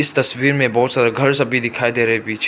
तस्वीर में बहोत सारे घर सभी दिखाई दे रहे पीछे --